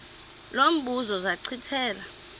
lo mbuzo zachithela